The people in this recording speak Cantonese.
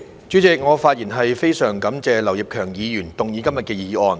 主席，我非常感謝劉業強議員動議今天的議案。